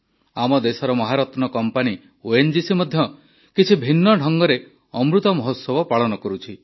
ଆମ ଦେଶର ମହାରତ୍ନ କମ୍ପାନୀ ଓଏନଜିସି ମଧ୍ୟ କିଛି ଭିନ୍ନ ଢଙ୍ଗରେ ଅମୃତ ମହୋତ୍ସବ ପାଳନ କରୁଛି